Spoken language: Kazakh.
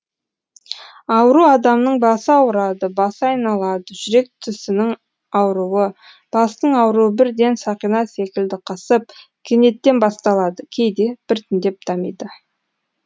ауру адамның басы ауырады басы айналады жүрек түсінің ауруы бастың ауруы бірден сақина секілді қысып кенеттен басталады кейде біртіндеп дамиды